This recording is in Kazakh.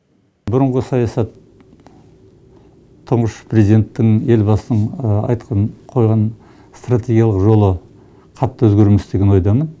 бұрынғы саясат тұңғыш президенттің елбасының айтқан қойған стратегиялық жолы қатты өзгермес деген ойдамын